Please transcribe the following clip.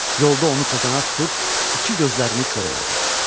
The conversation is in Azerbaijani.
Yolda onu tozanak tutub iki gözlərini kor elədi.